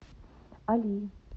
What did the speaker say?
али